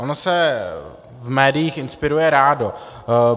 Ono se v médiích inspiruje rádo.